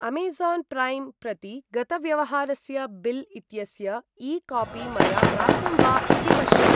Amazon Prime प्रति गतव्यवहारस्य bill इत्यस्य ई कापी मया प्राप्तं वा इति पश्य।